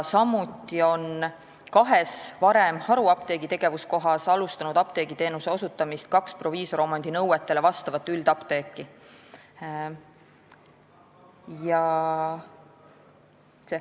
Samuti on kahes varem haruapteegi tegevuskohas alustanud apteegiteenuse osutamist kaks proviisoromandi nõuetele vastavat üldapteeki.